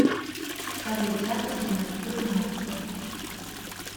салют запись на маникюр на утро